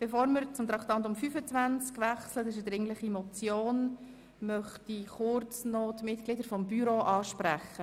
Bevor wir zum Traktandum 25, einer dringlichen Motion, wechseln, möchte ich die Mitglieder des Büros ansprechen.